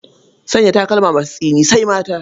Sanya takalma masu tsini sai mata.